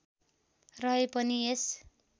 रहे पनि यस